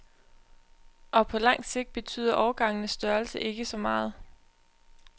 Og på langt sigt betyder årgangenes størrelse ikke så meget.